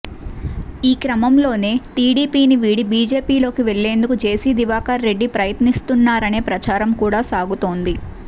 ఈ క్రమంలోనే టీడీపీని వీడి బీజేపీలోకి వెళ్లేందుకు జేసీ దివాకర్ రెడ్డి ప్రయత్నిస్తున్నారనే ప్రచారం కూడా సాగుతోంది